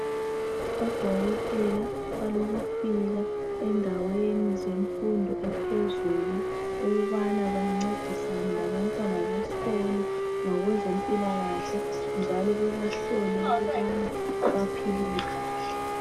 Odokotela balokufika endaweni zemfundo ephezulu ukubana bancedisane labantwana besikolo ngokwezempilakahle njalo bebahlole ukubana baphilile kahle.